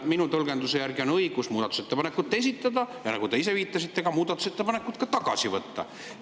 Minu tõlgenduse järgi on õigus muudatusettepanekut esitada ja – nagu te ise viitasite – muudatusettepanek ka tagasi võtta.